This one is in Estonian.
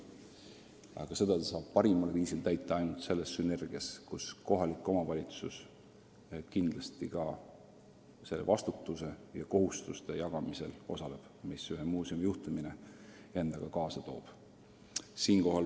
Aga seda ta saab parimal viisil täita ainult siis, kui tekib sünergia, mille puhul kohalik omavalitsus osaleb vastuse ja nende kohustuste jagamisel, mis ühe muuseumi juhtimine endaga kaasa toob.